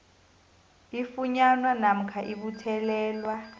ifunyanwa namkha ibuthelelwa